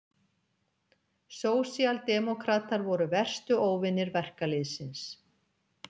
Sósíaldemókratar voru verstu óvinir verkalýðsins.